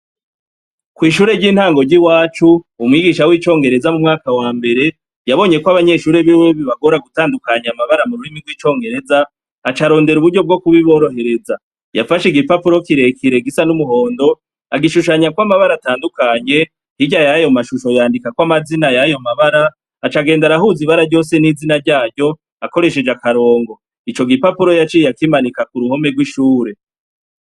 Kw'ishure ry'intango ry'iwacu, umwigisha w'icongereza mumwaka wambere yabonyekw'abanyeshure biwe bibagora gutandukanya amabara mururimi gw'icongereza, acarondera uburyo bwo kubiborohereza. Yafash'igipapuro kirekire gisa n'umuhondo, agishushanyako amabara atandukanye, hirya yayo mashusho yandikakako amazina yayo mabara , acagenda arahuza ibara ryose n'izina ryaryo, akoreshej'akarongo. Ico gipapuro yaciye akimanika kuruhome rw'ishure..